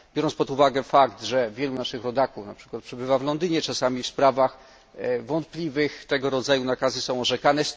Biorąc pod uwagę, że wielu naszych rodaków np. przebywa w Londynie, czasami w sprawach wątpliwych tego rodzaju nakazy są orzekane.